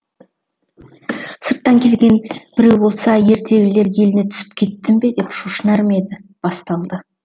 сырттан келген біреу болса ертегілер еліне түсіп кеттім бе деп шошынар ма еді басталды